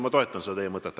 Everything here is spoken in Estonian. Ma toetan teie mõtet.